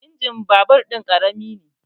Injimin babur ɗin ƙarami ne